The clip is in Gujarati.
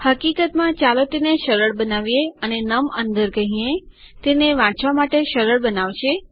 હકીકતમાં ચાલો તેને સરળ બનાવીએ અને નમ અંદર કહીએ તેને વાંચવા માટે સરળ બનાવશે